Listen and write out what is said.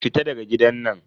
Fita daga gidan nan.